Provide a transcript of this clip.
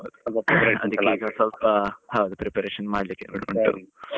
ಅದಕ್ಕೀಗ ಸ್ವಲ್ಪ, preparation ಮಾಡ್ಲಿಕ್ಕೆ ಹೊರಡ್ತಿತ್ತು.